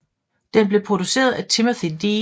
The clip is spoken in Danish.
Den blev produceret af Timothy D